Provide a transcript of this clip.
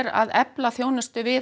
að efla þjónustu við